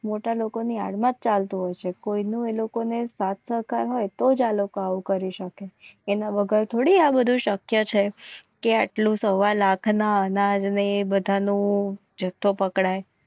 મોટા લોકોની યાદમાં જ ચાલતું હોય છે. કોઈનું એ લોકોને સાર્થક હોય તો જ આ લોકો આવું કરી શકે એના વગર થોડી આ બધું શક્ય છે કે આટલું સવા લાખના અનાજને બધાનો જથ્થો પકડાય.